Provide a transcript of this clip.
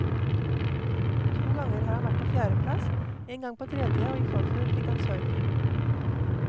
To ganger har han vært på fjerde plass, en gang på tredje og i forfjor fikk han sølv.